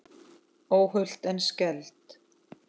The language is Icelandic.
Óhult en skelfd.